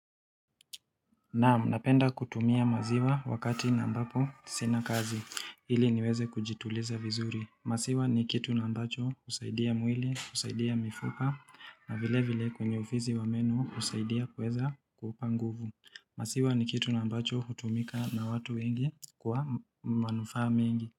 Naam, napenda kutumia maziwa wakati na ambapo sina kazi, ili niweze kujituliza vizuri. Maziwa ni kitu ambacho husaidia mwili, husaidia mifupa, na vile vile kwenye ufisi wa menu kusaidia kuweza kupa nguvu. Maziwa ni kitu na ambacho hutumika na watu wengi kwa manufaa mingi.